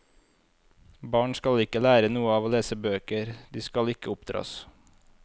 Barn skal ikke lære noe av å lese bøker, de skal ikke oppdras.